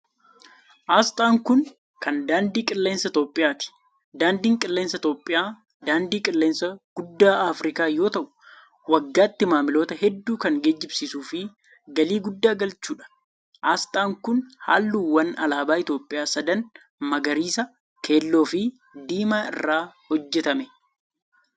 Asxaan kun, kan daandii qilleensa Itoophiyaati. Daandiin qilleensaa Itoophiyaa daandii qilleensaa guddaa Afriikaa yoo ta'u, waggaatti maamiltoota hedduu kan geejibsiisuu fi galii guddaa galchuu dha. Asxaan kun, haalluuwwan alaabaa Itoophiyaa sadan magariisa, keelloo fi diimaa irraa hojjatame.